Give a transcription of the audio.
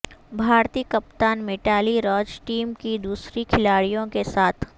بھارتی کپتان میٹالی راج ٹیم کی دوسری کھلاڑیوں کے ساتھ